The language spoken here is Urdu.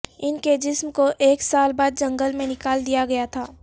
ان کے جسم کو ایک سال بعد جنگل میں نکال دیا گیا تھا